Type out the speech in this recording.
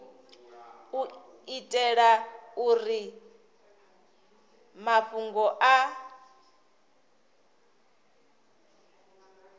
u itela uri mafhungo a